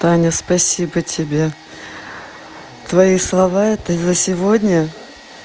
таня спасибо тебе твои слова это за сегодня